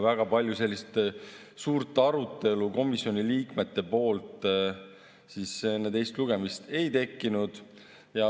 Väga palju arutelu komisjoni liikmete seas enne teist lugemist ei tekkinud.